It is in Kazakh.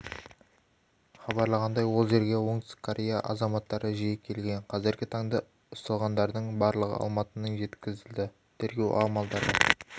хабарлағандай ол жерге оңтүстік корея азаматтыры жиі келген қазіргі таңда ұсталғанардың барлығы алматының жеткізілді тергеу амалдары